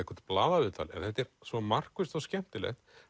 blaðaviðtal en þetta er svo markvisst og skemmtilegt